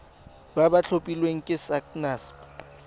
ba ba tlhophilweng ke sacnasp